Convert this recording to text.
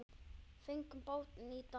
Fengum bátinn í dag.